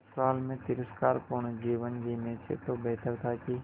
ससुराल में तिरस्कार पूर्ण जीवन जीने से तो बेहतर था कि